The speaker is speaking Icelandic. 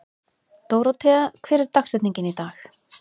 Dórothea, hver er dagsetningin í dag?